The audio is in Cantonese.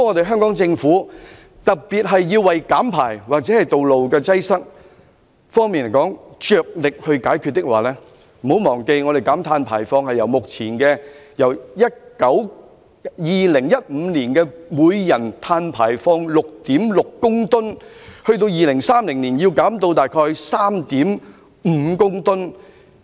香港政府必須着力減排或解決道路擠塞的問題，不要忘記香港的碳排放量須由2015年的每人 6.6 公噸減至2030年大約 3.5 公噸。